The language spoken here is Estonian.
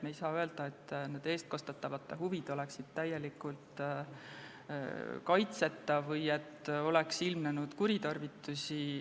Me ei saa öelda, nagu eestkostetavate huvid oleksid täielikult kaitseta või et oleks ilmnenud kuritarvitusi.